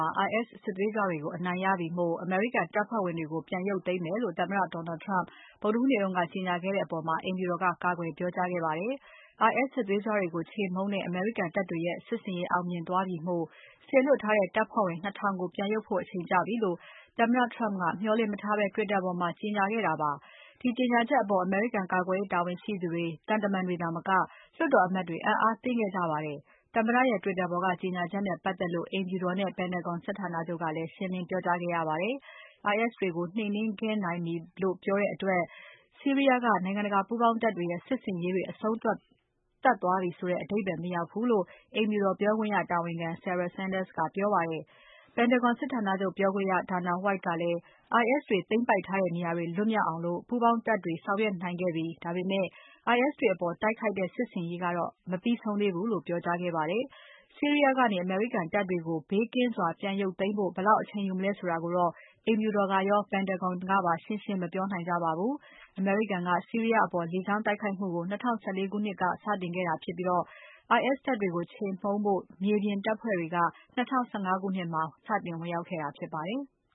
ှာ IS စစ်သွေးကြွတွေကို အနိုင်ရပြီမို့ အမေရိကန်တပ်ဖွဲ့ဝင်တွေကို ပြန်ရုတ်သိမ်းမယ်လို့ သမ္မတ Donald Trump ဗုဒ္ဓဟူးနေ့က ကြေညာခဲ့တဲ့အပေါ် အိမ်ဖြူတော်က ကာကွယ်ပြောကြားခဲ့ပါတယ်။ IS စစ်သွေးကြွတွေကိုခြေမှုန်းတဲ့ အမေရိကန်တပ်တွေရဲ့ စစ်ဆင်ရေးအောင်မြင်သွားပြီဖို့ စေလွှတ်ထားတဲ့ တပ်ဖွဲ့ဝင် ၂ ထောင်ကို ပြန်ရုတ်ဖို့ အချိန်ကျပြီလို့ သမ္မတ Trump ကမျှော်လင့်မထားဘဲ Twitter ပေါ်မှာ ကြေညာခဲ့တာပါ။ ဒီကြေညာချက်အပေါ် အမေရိကန်ကာကွယ်ရေးတာဝန်ရှိသူတွေ၊ သံတမန်တွေသာမက လွှတ်တော်အမတ်တွေ အံ့အားသင့်ခဲ့ကြပါတယ်။ သမ္မတရဲ့ Twitter ပေါ်က ကြေညာချက်နဲ့ပတ်သက်လို့ အိမ်ဖြူတော်နဲ့ Pentagon စစ်ဌာနချုပ်က ရှင်းလင်းပြောကြားခဲ့ရပါတယ်။ IS တွေကို နှိမ်နှင်းခဲ့နိုင်ပြီလို့ ပြောတဲ့အတွက် ဆီးရီးယားက နိုင်ငံတကာပူးပေါင်းတပ်တွေရဲ့ စစ်ဆင်ရေးတွေ အဆုံးသတ်သွားပြီဆိုတဲ့ အဓိပ္ပါယ်မရောက်ဘူးလို့ အိမ်ဖြူတော်ပြောခွင့်ရတာဝန်ခံ Sarah Sanders ကပြောပါတယ်။ Pentagon စစ်ဌာနချုပ်ပြောခွင့်ရ Dana White ကလည်း IS တွေ သိမ်းပိုက်ထားတဲ့နေရာတွေလွတ်မြောက်အောက် ပူးပေါင်းတပ်တွေဆောင်ရွက်နိုင်ခဲ့ပြီ။ ဒါပေမဲ့ IS တွေအပေါ် တိုက်ခိုက်တဲ့ စစ်ဆင်ရေးကတော့ မပြီးဆုံးသေးဘူးလို့ ပြောကြားခဲ့ပါတယ်။ ဆီးရီးယားကနေ အမေရိကန်တပ်တွေကို ဘေးကင်းစွာပြန်ရုတ်သိမ်းဖို့ ဘယ်လောက်အချိန်ယူမလဲဆိုတာကိုတော့ အိမ်ဖြူတော်ကရော Pentagon ကပါ ရှင်းရှင်းလင်းလင်း မပြောနိုင်ကြပါဘူး။ အမေရိကန်က ဆီးရီးယားအပေါ် လေကြောင်းတိုက်ခိုက်မှုကို ၂၀၁၄ ခုနှစ်ထဲက စတင်ခဲ့တာဖြစ်ပြီး IS တပ်တွေကို ခြေမှုန်းဖို့ မြေပြင်တပ်ဖွဲ့တွေက 2015 ခုနှစ်မှာ စတင်ဝင်ရောက်ခဲ့တာဖြစ်ပါတယ်။